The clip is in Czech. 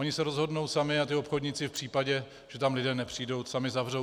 Oni se rozhodnou sami a ti obchodníci v případě, že tam lidé nepřijdou, sami zavřou.